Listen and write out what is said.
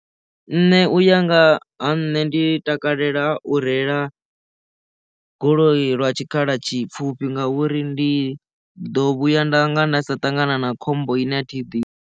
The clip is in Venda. Nṋe u ya nga ha nṋe ndi takalela u reila goloi lwa tshikhala tshipfufhi ngauri ndi ḓo vhuya nda nga nda sa ṱangana na khombo ine athi i ḓivhi.